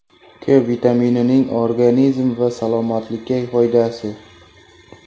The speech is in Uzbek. K vitaminining organizm va salomatlikka foydasi.